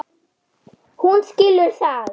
Hún skilur það.